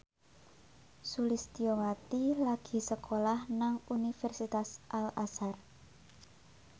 Sulistyowati lagi sekolah nang Universitas Al Azhar